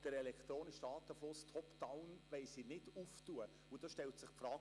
Den elektronischen Datenfluss «top down» wollen sie allerdings nicht öffnen.